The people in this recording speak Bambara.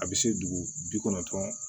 A bɛ se dugu bi kɔnɔntɔn